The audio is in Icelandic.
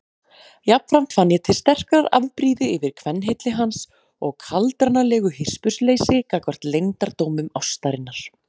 Jafnframt fann ég til sterkrar afbrýði yfir kvenhylli hans og kaldranalegu hispursleysi gagnvart leyndardómum ástarinnar.